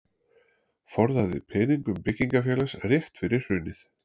Forðaði peningum byggingarfélags rétt fyrir hrunið